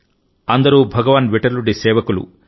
అందరూ భగవాన్ విఠలుడి సేవకులు